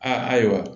A ayiwa